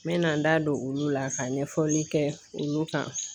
N mɛna n da don olu la ka ɲɛfɔli kɛ olu kan.